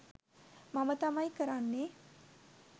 මම තමයි කරන්නේ.